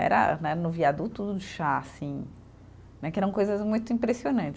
Era né, no viaduto do chá, assim né, que eram coisas muito impressionantes.